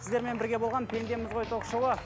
сіздермен бірге болған пендеміз ғой ток шоуы